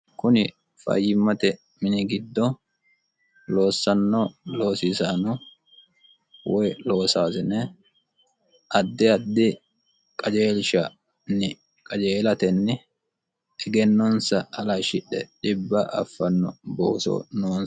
kuni fayyimmate mini giddo loossanno loosiisaano woy loosaasine addi addi qajeelshanni qajeelatenni egennonsa alashshidhe dhibba affanno booso noons